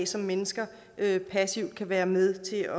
som mennesker passivt kan være med til